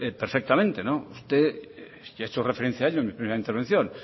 perfectamente usted ha hecho referencia a ello en su primera intervención